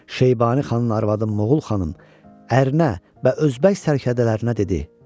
Şeybani xanın arvadı Moğul xanım ərinə və özbək sərdələrinə dedi: